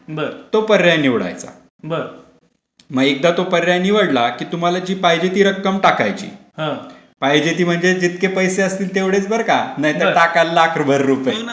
तो पर्याय निवडायचा मग एकदा तो पर्याय निवडला कि पाहिजे ती रक्कम टाकायची.पाहिजे ती म्हणजे जितके पैसे असतील तेवढेच बरं का! नाहीतर टाकलं लाखभर रुपये